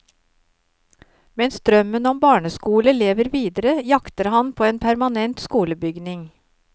Mens drømmen om barneskole lever videre, jakter han på en permanent skolebygning.